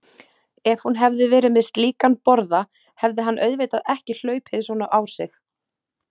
Ef hún hefði verið með slíkan borða hefði hann auðvitað ekki hlaupið svona á sig.